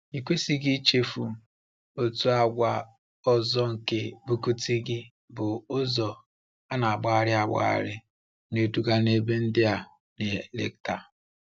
Ikwesịghị ichefu, otu àgwà ọzọ nke Bukittinggi bụ ụzọ na-agbagharị agbagharị na-eduga n’ebe ndị a na-eleta.